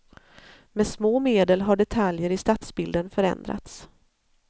Med små medel har detaljer i stadsbilden förändrats.